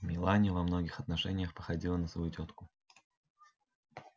мелани во многих отношениях походила на свою тётку